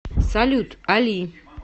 салют али